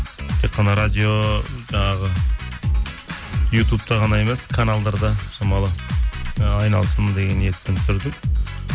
тек қана радио жаңағы ютубта ғана емес каналдарда шамалы ы айналсын деген ниетпен түсірдік